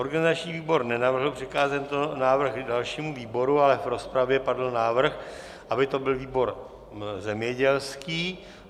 Organizační výbor nenavrhl přikázat tento návrh dalšímu výboru, ale v rozpravě padl návrh, aby to byl výbor zemědělský.